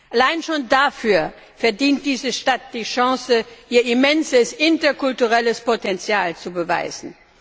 Allein schon dafür verdient diese Stadt die Chance, ihr immenses interkulturelles Potenzial zu beweisen.